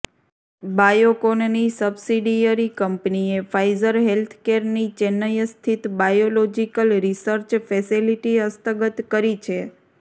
બાયોકોનની subsidiary કંપનીએ Pfizer હેલ્થકેરની ચેન્નઇ સ્થિત બાયોલોજીકલ રિસર્ચ ફેસિલિટી હસ્તગત કરી છે